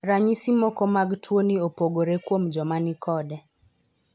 Ranyisi moko mag tuo ni opogore kuom joma ni kode.